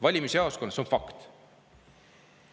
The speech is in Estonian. Valimisjaoskonnas on hääletamine fakt.